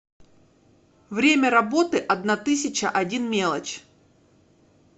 время работы одна тысяча один мелочь